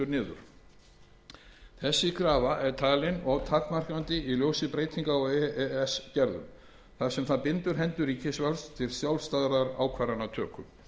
niður þessi krafa er talin of takmarkandi í ljósi breytinga á e e s gerðum þar sem það bindur hendur ríkisvaldsins til sjálfstæðrar ákvörðunartöku